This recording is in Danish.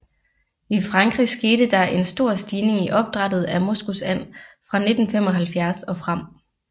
I Frankrig skete der en stor stigning i opdrættet af moskusand fra 1975 og frem